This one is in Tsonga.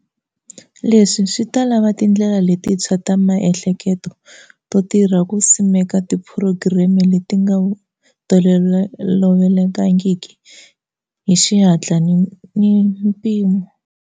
Leswi swi ta lava tindlela letintshwa ta maehleke telo to tirha ku simeka tiphurogireme leti nga tolovelekangiki hi xihatla ni mpimo.